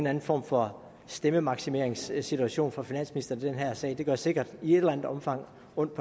anden form for stemmemaksimeringssituation for finansministeren i den her sag det gør sikkert i et eller andet omfang ondt